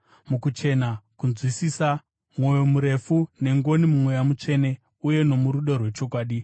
mukuchena, kunzwisisa, mwoyo murefu nengoni muMweya Mutsvene uye nomurudo rwechokwadi;